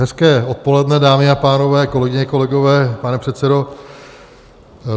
Hezké odpoledne, dámy a pánové, kolegyně, kolegové, pane předsedo.